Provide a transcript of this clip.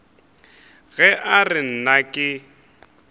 ge a re nna ke